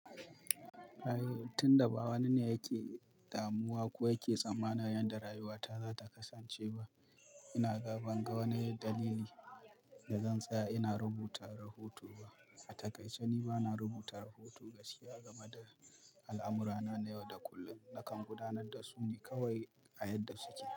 A'i, tun da ba wani ne yake damuwa ko yake tsammana yadda rayuwata za ta kasance ba, ina ga banga wani dalili da zan tsaya ina rubuta rahoto ba. A takaice ni ba na rubuta rahoto gaskiya game da al'amurana na yau da kullum. Nakan gudanar da su ne kawai a yadda suke.